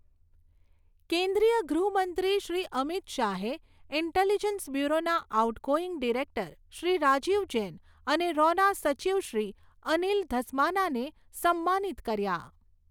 કેન્દ્રીય ગૃહ મંત્રી શ્રી અમિત શાહએ ઈન્ટેલિજન્સ બ્યૂરોના આઉટગોઈંગ ડિરેક્ટર શ્રી રાજીવ જૈન અને રૉના સચિવ શ્રી અનિલ ધસ્માનાને સમ્માનિત કર્યા